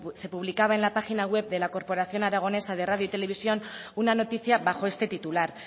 se publicaba en la página web de la corporación aragonesa de radio y televisión una noticia bajo este titular